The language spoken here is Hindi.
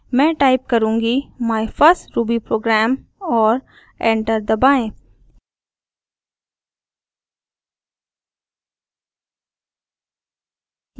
मैं टाइप करुँगी my first ruby program और एंटर दबाएँ